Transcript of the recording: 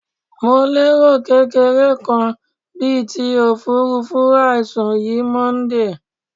Mo lero kekere kan bit ofurufu aisun yi Monday